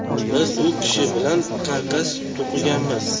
Biz u kishi bilan karkas to‘qiganmiz.